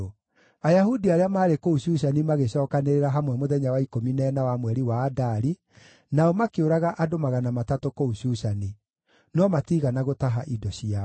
Ayahudi arĩa maarĩ kũu Shushani magĩcookanĩrĩra hamwe mũthenya wa ikũmi na ĩna wa mweri wa Adari, nao makĩũraga andũ magana matatũ kũu Shushani. No matiigana gũtaha indo ciao.